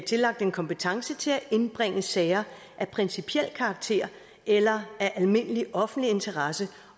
tillagt en kompetence til at indbringe sager af principiel karakter eller af almindelig offentlig interesse